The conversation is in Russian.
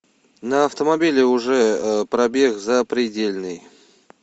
на автомобиле уже пробег запредельный